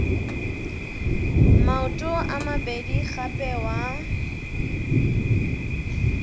maoto a mabedi gape wa